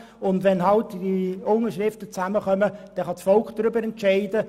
Wenn genügend Unterschriften zusammenkommen, kann das Volk darüber entscheiden.